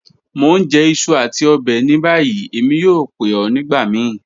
Mo n jẹ iṣu ati ọbẹ ni bayi, Emi yoo pe ọ nigbamii.